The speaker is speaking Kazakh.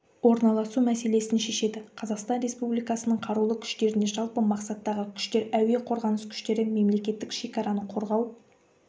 орналасу мәселесін шешеді қазақстан республикасының қарулы күштеріне жалпы мақсаттағы күштер әуе-қорғаныс күштері мемлекеттік шекараны қорғау